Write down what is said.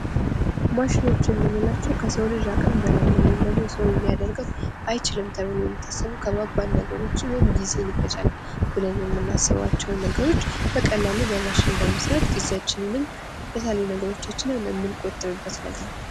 ማሽኖች የምንላቸው ከሰው ልጅ አቅም በላይ ነው ወይም ደግሞ የሰው ልጅ ሊያደርገው አይችልም ተብለው የሚታሰቡ ከባባድ ነገሮችን ወይም ደግሞ ጊዜን ይፈጃል ብለን የምናስባቸውን ነገሮች በቀላሉ በማሽን በመስራት ጊዜአችንንም የተለያዩ ነገሮቻችንን የምንቆጥብበት ነገር ነው።